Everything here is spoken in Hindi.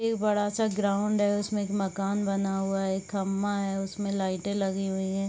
एक बड़ा सा ग्राउंड है। उसमें एक मकान बना हुआ है। एक खम्भा है उसमें लाइटें लगीं हुईं हैं।